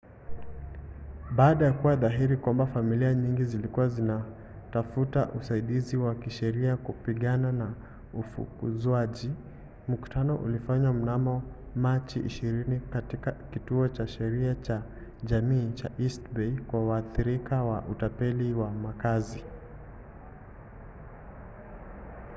baada ya kuwa dhahiri kwamba familia nyingi zilikuwa zinatafuta usaidizi wa kisheria kupigana na ufukuzwaji mkutano ulifanywa mnamo machi 20 katika kituo cha sheria cha jamii cha east bay kwa waathirika wa utapeli wa makazi